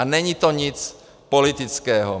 A není to nic politického.